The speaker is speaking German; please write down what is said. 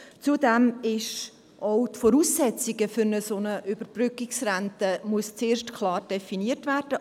Zudem müssen auch die Voraussetzungen für eine solche Überbrückungsrente zuerst klar definiert werden.